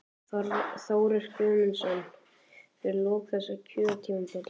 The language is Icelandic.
Þórir Guðmundsson: Fyrir lok þessa kjörtímabils?